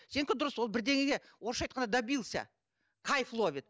сенікі дұрыс ол бірдеңеге орысша айтқанда добился кайф ловит